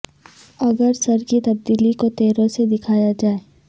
اگر سر کی تبدیلی کو تیروں سے دکھایا جائے